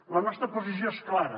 la nostra posició és clara